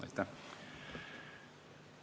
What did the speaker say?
Aitäh!